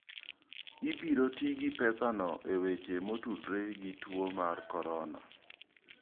Ibiro ti gi pesano e weche motudore gi tuo mar corona.